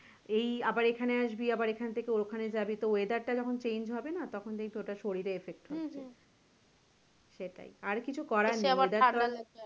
এই আবার এখানে আসবি আবার এখান থেকে ওখানে জাবি তো weather টা যখন change হবে না তখন দেখবি তোর ওটা শরীরে effect হচ্ছে সেটাই আর কিছু করার নেই weather